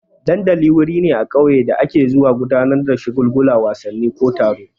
Dandali wuri ne a ƙauye da ake zuwa gudanar da shagulgula, wasanni ko taro.